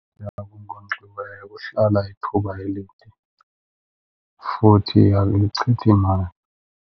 okunkonkxiweyo kuhlala ithuba elide futhi akuyichithi imali.